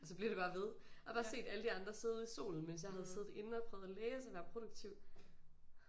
Og så blev det bare ved og har bare set alle de andre sidde ude i solen mens jeg havde siddet inde og prøvet at læse og være produktiv